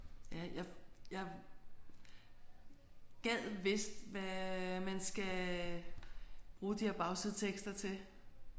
Ja jeg jeg gad vist hvad man skal bruge de her bagsidetekster til